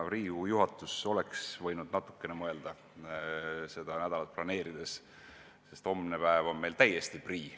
Riigikogu juhatus oleks võinud natukene mõelda seda nädalat planeerides – homne päev on meil ju täiesti prii.